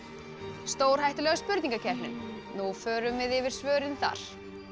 stórhættulega spurningakeppnin nú förum við yfir svörin þar